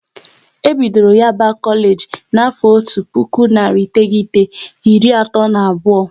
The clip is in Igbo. E bidoro Yaba Kolage na afo otu puku narị iteghete, iri atọ na abụọ